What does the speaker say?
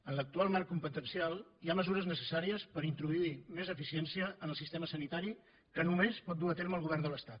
en l’actual marc competencial hi ha mesures necessàries per introduir més eficiència en el sistema sanitari que només pot dur a terme el govern de l’estat